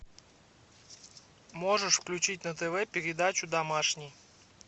можешь включить на тв передачу домашний